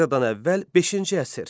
Eradan əvvəl beşinci əsr.